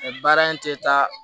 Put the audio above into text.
Baara in tɛ taa